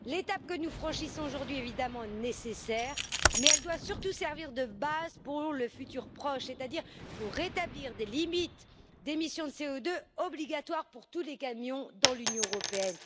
L'étape que nous franchissons aujourd'hui, évidemment, est nécessaire, mais elle doit surtout servir de base pour le futur proche, c'est à dire pour établir des limites d'émission de CO2 obligatoires pour tous les camions dans l'Union européenne.